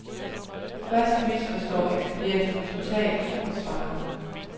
Først misforstår ekspedienten totalt og svarer.